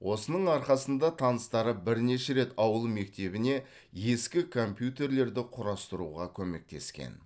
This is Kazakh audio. осының арқасында таныстары бірнеше рет ауыл мектебіне ескі компьютерлерді құрастыруға көмектескен